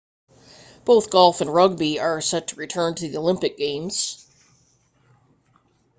both golf and rugby are set to return to the olympic games